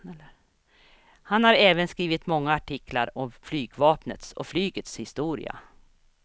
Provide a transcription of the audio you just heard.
Han har även skrivit många artiklar om flygvapnet och flygets historia.